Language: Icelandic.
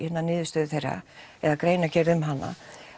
niðurstöðu þeirra eða greinargerð um hana